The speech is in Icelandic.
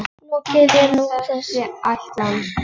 Lokið er nú þessi ætlan.